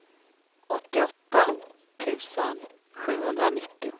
åttioåtta tusen sjuhundranittio